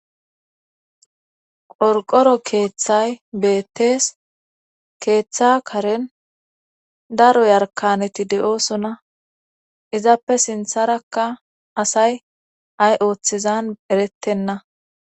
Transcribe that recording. qorqoro keeththay beettees keeththa karen daro yarkaneti de7oosona izappe sintharakka asay ay ooththezan erettenna